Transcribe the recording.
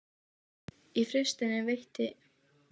Svefninn byrjaði að móta störf mín- eða öllu heldur svefnleysið.